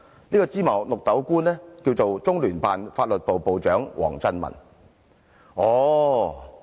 這位"芝麻綠豆"官便是中聯辦法律部部長王振民。